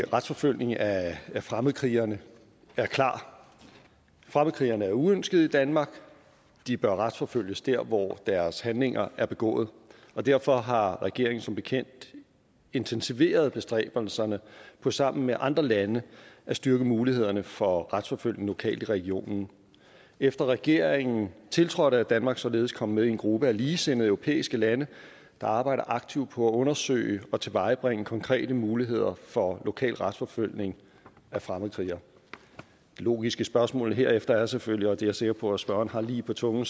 retsforfølgning af fremmedkrigerne er klar fremmedkrigerne er uønskede i danmark og de bør retsforfølges dér hvor deres handlinger er begået derfor har regeringen som bekendt intensiveret bestræbelserne på sammen med andre lande at styrke mulighederne for retsforfølgning lokalt i regionen efter at regeringen tiltrådte er danmark således kommet med i en gruppe af ligesindede europæiske lande der arbejder aktivt på at undersøge og tilvejebringe konkrete muligheder for lokal retsforfølgning af fremmedkrigere det logiske spørgsmål er herefter selvfølgelig og det er jeg sikker på at spørgeren har lige på tungen